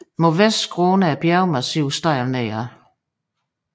Mod vest skråner bjergmassivet stejlt nedad